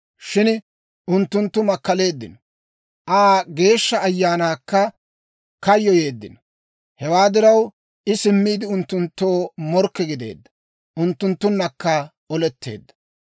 Shin unttunttu makkaleeddino; Aa Geeshsha Ayaanaakka kayyoyeeddino. Hewaa diraw, I simmiide, unttunttoo morkke gideedda; unttunttunnakka oletteedda.